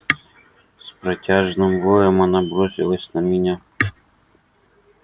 с протяжным воем она бросилась на меня